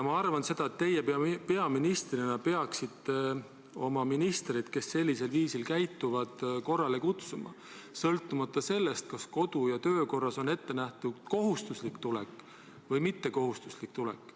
Ma arvan, et teie peaministrina peaksite oma ministrid, kes sellisel viisil käituvad, korrale kutsuma, sõltumata sellest, kas kodu- ja töökorras on ette nähtud kohustuslik tulek või mittekohustuslik tulek.